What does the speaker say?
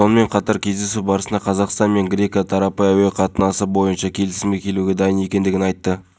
бұл үлкен топтар емес ақтөбеде адам батыс қазақстанда екі топ ұсталды сондықтан мен қайталап айтамын біз ешқашан ешкімді негізсіз ұстамаймыз жұмақанов